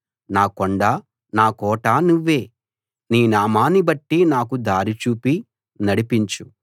నా కొండ నా కోట నువ్వే నీ నామాన్ని బట్టి నాకు దారి చూపి నడిపించు